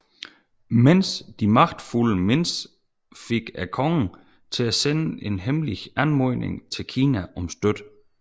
Men de magtfulde Mins fik kongen til at sende en hemmelig anmodning til Kina om støtte